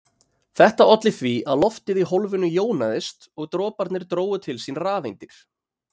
Þetta olli því að loftið í hólfinu jónaðist og droparnir drógu til sín rafeindir.